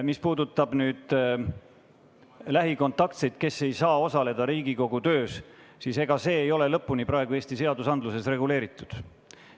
Mis puudutab lähikontaktseid, kes ei saa osaleda Riigikogu töös, siis see teema ei ole praegu Eesti seadustes lõpuni reguleeritud.